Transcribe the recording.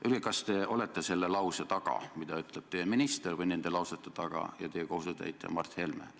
Öelge, kas te olete selle lause taga või nende lausete taga, mida on öelnud teie valitsuse minister ja teie kohusetäitja Mart Helme!